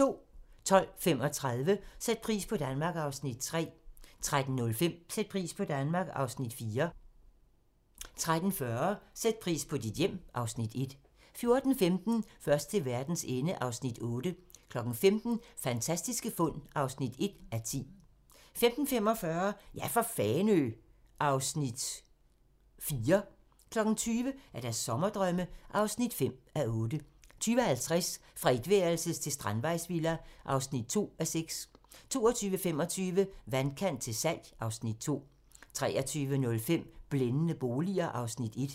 12:35: Sæt pris på Danmark (Afs. 3) 13:05: Sæt pris på Danmark (Afs. 4) 13:40: Sæt pris på dit hjem (Afs. 1) 14:15: Først til verdens ende (Afs. 8) 15:00: Fantastiske fund (1:10) 15:45: Ja for Fanø! (Afs. 4) 20:00: Sommerdrømme (5:8) 20:50: Fra etværelses til strandvejsvilla (2:6) 22:25: Vandkant til salg (Afs. 2) 23:05: Blændende boliger (Afs. 1)